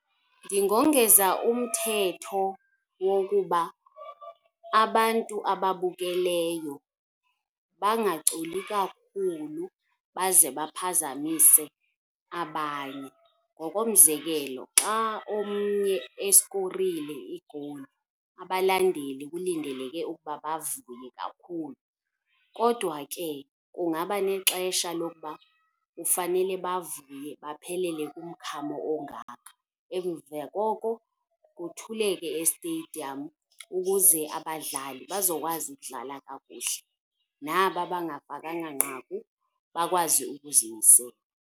Ndingongeza umthetho wokuba abantu ababukeleyo bangaculi kakhulu baze baphazamise abanye. Ngokomzekelo, xa omnye eskorile igowuli, abalandeli kulindeleke ukuba bavuye kakhulu. Kodwa ke kungaba nexesha lokuba kufanele bavuye baphelele kumkhamo ongaka, emva koko kuthuleke esteyidiyam ukuze abadlali bazokwazi ukudlala kakuhle, naba bangafakanga nqaku bakwazi ukuzimisela.